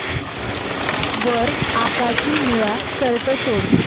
वर आकाशी निळा शर्ट शोध